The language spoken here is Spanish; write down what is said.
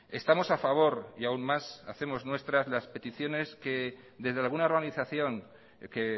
estamos a favor y aún más hacemos nuestras las peticiones que desde alguna organización que